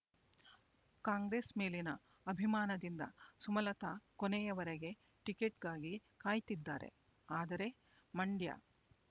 ಕಾಂಗ್ರೆಸ್ ಮೇಲಿನ ಅಭಿಮಾನದಿಂದ ಸುಮಲತಾ ಕೊನೆಯ ವರೆಗೆ ಟಿಕೆಟ್‌ಗಾಗಿ ಕಾಯ್ತಿದ್ದಾರೆ ಆದರೆ ಮಂಡ್ಯ